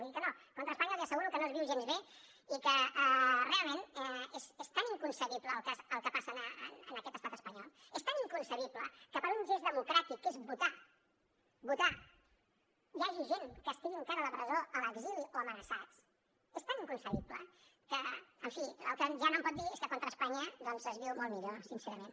vull dir que no contra espanya li asseguro que no es viu gens bé i que realment és tan inconcebible el que passa en aquest estat espanyol és tan inconcebible que per un gest democràtic que és votar votar hi hagi gent que estigui encara a la presó a l’exili o amenaçats és tan inconcebible que en fi el que ja no em pot dir és que contra espanya doncs es viu molt millor sincerament